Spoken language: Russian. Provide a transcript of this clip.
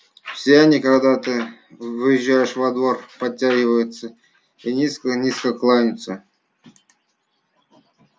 все они когда въезжаешь во двор подтягиваются и низко-низко кланяются